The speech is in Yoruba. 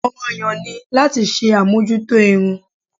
Ọ̀ràn-an-yàn ni láti ṣe àmójútó irun